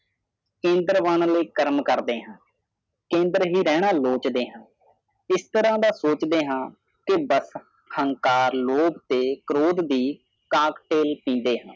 ਕੇਂਦਰ ਬਣਨ ਲਈ ਕਰਮ ਕਰਦੇ ਹਾਂ ਕੇਂਦਰ ਹੀ ਰਹਿਣ ਲੋਚਦੇ ਹਾਂ ਇਸ ਤਰ੍ਹਾਂ ਸੋਚਦੇ ਹਾਂ ਕਿ ਬ ਹੰਕਾਰ ਲੋਕ ਤੇ ਕਰੋਧ ਦੀ ਕਾਕ ਤੋਲ ਪੀਦੇ